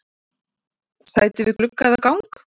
Sæti við glugga eða gang?